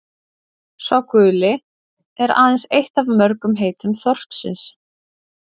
„sá guli“ er aðeins eitt af mörgum heitum þorsksins